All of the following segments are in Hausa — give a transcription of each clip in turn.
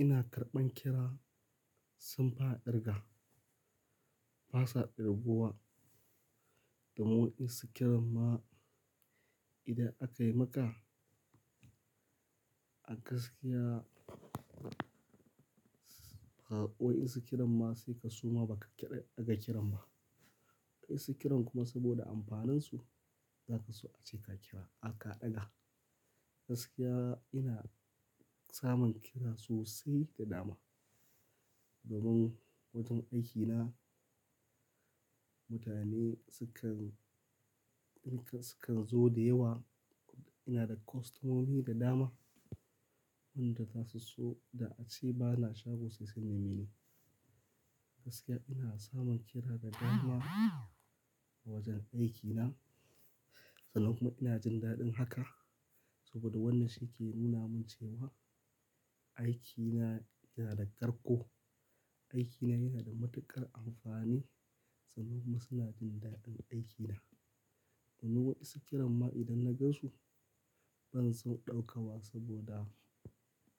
Ina karɓan kira, saun fi a kirga, ba sa kirbuwa. Domun in su kiran ma, idan aka yi maka, a gaskiya, wa'in su kiran ma sai ka suma ba ka ƙira daga kiran ba. Kai su kiran kuma saboda amfanansu, za ka so ace ka kira aka ɗaga. Gaskiya ina samun kira sosai da dama. Domin wajen aiki na, mutane sukan, sukan zo da yawa. Ina da kostomomi da dama, wanda za su so da ace ba na shago saisai na mini. Gaskiya ina samun kira da dama a wajen aiki na. Sanan kuma ina jin daɗin haka, saboda wannan shi ke nuna min cewa aiki na yana da ƙarko. Aiki na yana da matuƙar amfani, sanan kuma suna jin daɗin aiki na. Wannan waɗansu kiran ma idan na gan su, ban son ɗauka wa saboda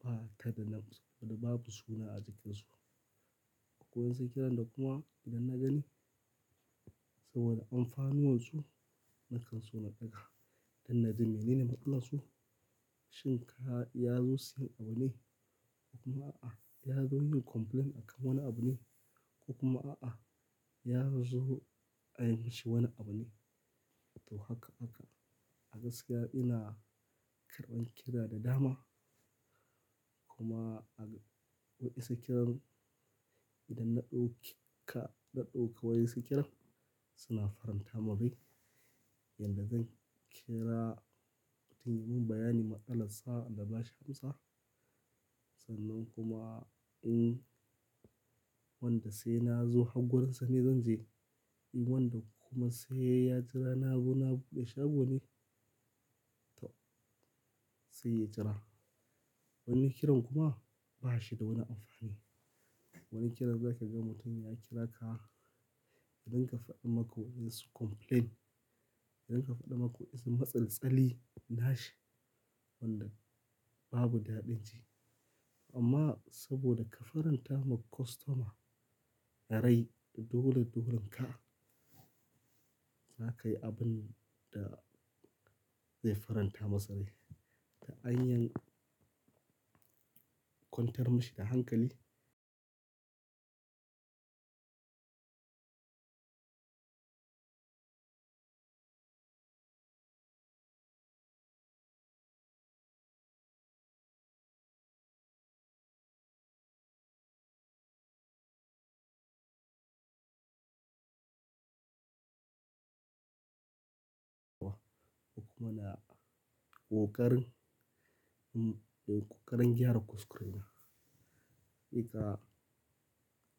ba tada nam su, babu suna a jikin su. Wa'in sai kiran da kuma idan na gani saboda amfani wansu, na kan so na ɗaga. Idan na ji mini ne maƙala su, shin ka ya zo siyan abu ne? Ko kuma a'a, ya zo yin complaint akan wani abu ne? Ko kuma a'a, ya zo a yi mashi wani abu ne? To haka aka. A gaskiya ina karɓan kira da dama. Kuma a wa'in sai kiran, idan na ɗauki ka, na ɗauka wa'in sai kiran suna faranta mun rai. Yanda zan kira mutumin bayan ni matsalar sa na ba shi amsar. Sanan kuma in wanda sai na zo har gurinsa ne zan je. In wanda kuma sai ya jira nazo na buɗe shagon ne, sai ya jira. Wani kiran kuma ba shi da wani amfani. Wani kiran za ka ga mutum ya kira ka, idan ka faɗi mako ya so complain. Idan ka faɗi mako ya so matsaltsali na shi, wanda babu daɗin ji. Amma saboda ka faranta ma kostoma rai dole dolen ka, za ka yi abun da zai faranta masa rai. To an kwantar mashi da hankali. Kuma na ƙoƙarin, ƙoƙarin gyara kuskure na. Hakika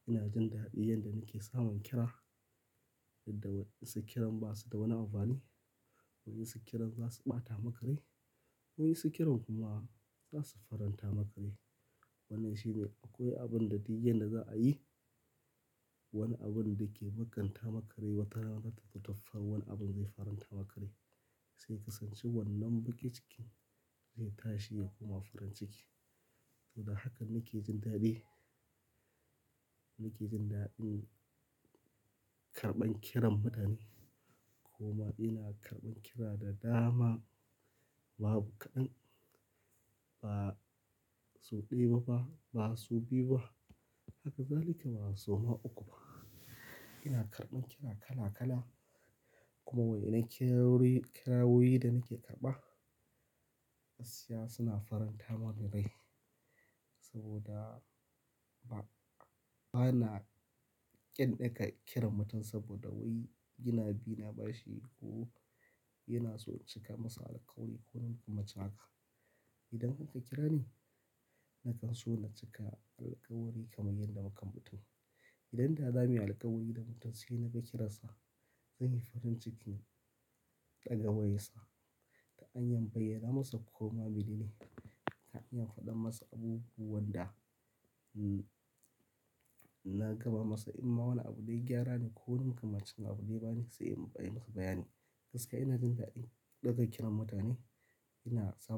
ina jin daɗin yanda nake samun kira. Yadda wa'in su kiran ba su da wani amfani. Wa'in su kiran za su ɓata maka rai. Wa'in sai kiran kuma za su faranta ma kai rai. Wannan shine akwai abun da duk yanda za a yi, wani abun dake baƙanta maka rai wata rana zata taɓa wani abun zai faranta ma kai rai. Sai ka san shi wannan bake cikin zai tashi ya koma farin ciki. Tunda hakan nake jin daɗi, nake jin daɗin karɓan kiran mutane. Kuma ina karɓan kira da dama. Babu kaɗan, ba sau ɗaya ba, ba sau biyu ba. Haka zalika ba sau ma uku ba. Ina karɓan kira kala kala. Kuma wai na kirawoyi da nake karɓa, gaskiya suna faranta mani rai. Saboda ba, bana ƙyan ɗaga kiran mutum saboda wai yana bi na bashi ko yana so in cika masa alkawari ko makamancin haka. Idan karka kira ni, na kan so na cika alkawari kamar yadda muka mutu. Idan da za mu yi alkawari da mutum sai na ga kiransa, zan yi farin cikin ɗaga wayarsa. Ta an yan bayyana masa ko ma mini ne. Ta hanyan faɗa masa abubuwan da na gama masa. In ma wani abu dai gyara ne ko makamancin abu dai ba ne sai mu bayyana masa bayani. Gaskiya ina jin daɗin ɗaga kiran mutane. Ina samun.